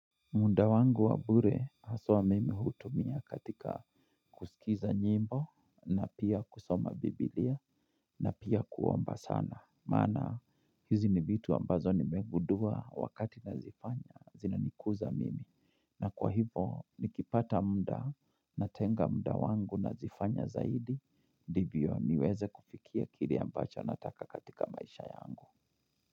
Muda wangu wa bure haswa mimi hutumia katika kusikiza nyimbo na pia kusoma bibilia na pia kuomba sana. Maana hizi ni vitu ambazo nimeguddua wakati nazifanya zinanikuza mimi. Na kwa hivo nikipata muda natenga muda wangu nazifanya zaidi, ndivyo niweze kufikia kile ambacho nataka katika maisha yangu.